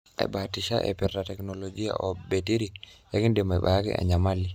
'Abatisha aipirta teknologia o betiri ikindim ayaki enyamali.